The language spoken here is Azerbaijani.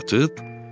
Satıb?